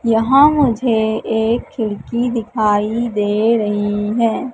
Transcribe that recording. यहां मुझे एक खिड़की दिखाई दे रही हैं।